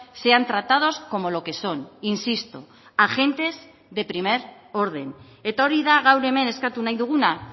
sean tratados como lo que son insisto agentes de primer orden eta hori da gaur hemen eskatu nahi duguna